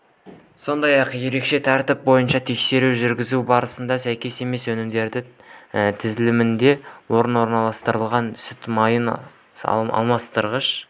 сондай-ақ ерекше тәртіп бойынша тексеру жүргізу барысында сәйкес емес өнімдер тізілімінде бұрын орналастырылған сүт майын алмастырғыш